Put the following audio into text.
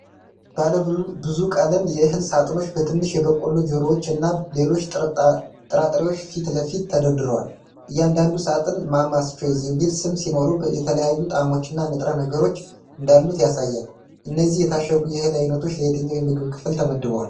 ባለብዙ ቀለም የእህል ሳጥኖች በትንሽ የበቆሎ ጆሮዎች እና ሌሎች ጥራጥሬዎች ፊት ለፊት ተደርድረዋል። እያንዳንዱ ሳጥን 'Mama's Choice' የሚል ስም ሲኖረው፣ የተለያዩ ጣዕሞችና ንጥረ ነገሮች እንዳሉት ያሳያል። እነዚህ የታሸጉ የእህል ዓይነቶች ለየትኛው የምግብ ክፍል ተመድበዋል?